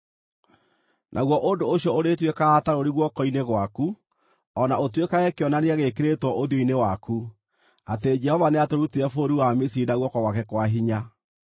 Naguo ũndũ ũcio ũrĩtuĩkaga ta rũũri guoko-inĩ gwaku, o na ũtuĩkage kĩonania gĩĩkĩrĩtwo ũthiũ-inĩ waku, atĩ Jehova nĩatũrutire bũrũri wa Misiri na guoko gwake kwa hinya.’ ”